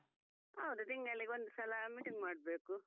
ಹೌದು ತಿಂಗಳಿಗೆ ಒಂದು ಸಲ meeting ಮಾಡ್ಬೇಕು.